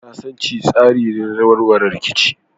Sasanci tsari ne na warware rikici.